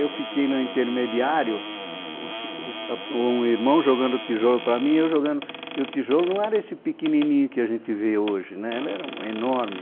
Eu fiquei no intermediário, o s um irmão jogando o tijolo para mim e eu jogando, e o tijolo não era esse pequenininho que a gente vê hoje né ele era um enorme.